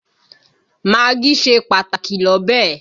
Magí ṣe pàtàkì l'ọ́bẹ̀